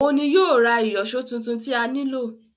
Òun ni yóò ra ìyọ̀ṣó titun tí a nílò